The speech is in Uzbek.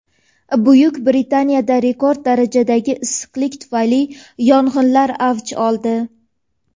Buyuk Britaniyada rekord darajadagi issiqlik tufayli yong‘inlar avj oldi.